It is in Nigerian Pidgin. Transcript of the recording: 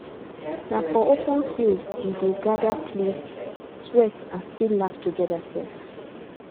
na for open field we dey gather play sweat and still laugh together sef